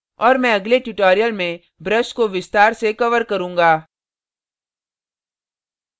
और मैं अगले tutorial में brush को विस्तार से cover करूँगा